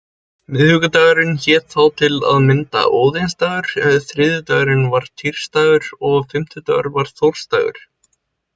Miðvikudagurinn hét þá til að mynda óðinsdagur, þriðjudagur var týsdagur og fimmtudagur var þórsdagur.